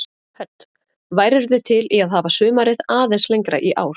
Hödd: Værirðu til í að hafa sumarið aðeins lengra í ár?